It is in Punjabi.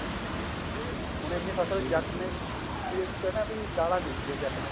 ਹੁਣ ਇੰਨੀ ਫਸਲ ਜੱਟ ਨੇ ਕਹਿੰਦੇ ਵੀ ਦਾਲਾਂ ਬੀਜ ਲਈਆਂ ਜੱਟ ਨੇ